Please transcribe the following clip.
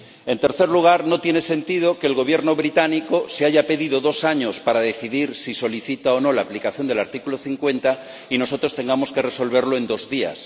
En tercer lugar, no tiene sentido que el Gobierno británico se haya pedido dos años para decidir si solicita o no la aplicación del artículo 50 y nosotros tengamos que resolverlo en dos días.